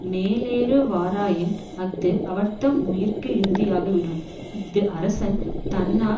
மேலேறுவாராயின் அஃது அவர் தம்முயிர்க்கு இறுதியாகிவிடும் இஃது அரசன் தன்னாற்